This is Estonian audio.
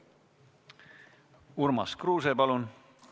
Urmas Kruuse, palun!